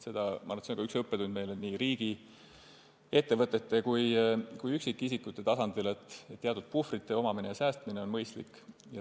Ma arvan, et see on õppetund meile nii riigi, ettevõtete kui ka üksikisikute tasandil – teatud puhvri omamine ja säästmine on mõistlik.